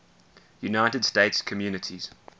united states communities